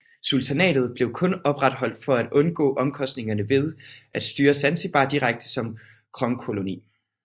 Sultanatet blev kun opretholdt for at undgå omkostningerne ved at styre Zanzibar direkte som kronkoloni